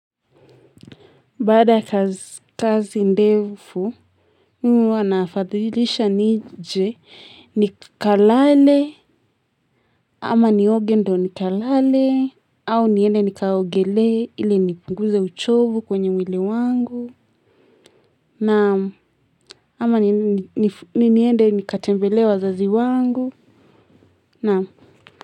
Baada ya kazi ndefu, mimi huwa nafadhilisha nije, nikalale, ama nioge ndo nikalale, au niende nikaogelee, ili nipinguze uchovu kwenye mwili wangu, na ama niende nikatembelee wazazi wangu, naam.